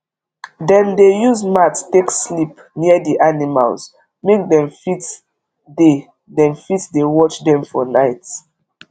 dem dey use mat take sleep near the animals make dem fit dey dem fit dey watch them for night